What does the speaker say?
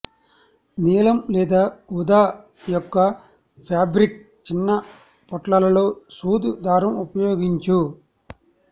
నీలం లేదా ఊదా యొక్క ఫాబ్రిక్ చిన్నపొట్లాలలో సూది దారం ఉపయోగించు